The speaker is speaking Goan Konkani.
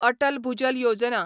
अटल भुजल योजना